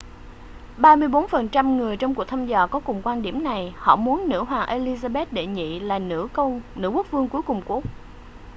34 phần trăm người trong cuộc thăm dò có cùng quan điểm này họ muốn nữ hoàng elizabeth đệ nhị là nữ quốc vương cuối cùng của úc